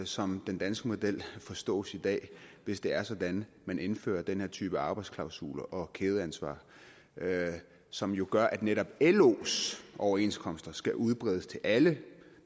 som den danske model forstås i dag hvis det er sådan at man indfører den her type arbejdsklausuler og kædeansvar som jo gør at netop los overenskomster skal udbredes til alle